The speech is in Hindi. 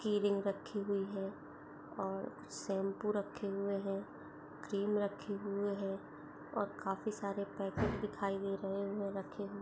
किरीम रखी हुई है और शैम्पू रखे हुए हैं क्रीम रखे हुए हैं और काफी सारे पैकेट दिखाई दे रहे हैंरखे--